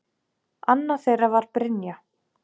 Annað þeirra var Brynja.